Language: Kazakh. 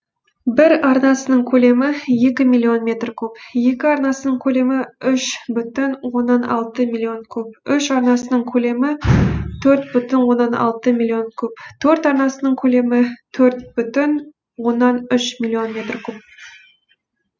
бір арнасының көлемі екі миллион метр куб екі арнасының көлемі үш бүтін оннан алты миллион куб үш арнасының көлемі төрт бүтін оннан алты миллион куб төрт арнасының көлемі төрт бүтін оннан үш миллион метр куб